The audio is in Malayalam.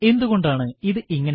എന്തുകൊണ്ടാണ് ഇത് ഇങ്ങനെ